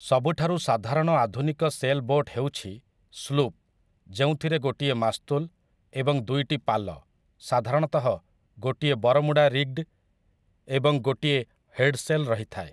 ସବୁଠାରୁ ସାଧାରଣ ଆଧୁନିକ ସେଲ୍ ବୋଟ୍ ହେଉଛି ସ୍ଲୁପ୍, ଯେଉଁଥିରେ ଗୋଟିଏ ମାସ୍ତୁଲ ଏବଂ ଦୁଇଟି ପାଲ, ସାଧାରଣତଃ ଗୋଟିଏ ବରମୁଡା ରିଗ୍ଡ ଏବଂ ଗୋଟିଏ ହେଡ଼ସେଲ୍, ରହିଥାଏ ।